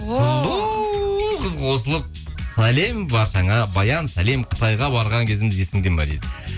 қыз қосылып сәлем баршаңа баян сәлем қытайға барған кезіміз есіңде ме дейді